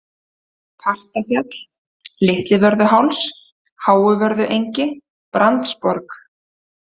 Partafjall, Litlivörðuháls, Háuvörðuengi, Brandsborg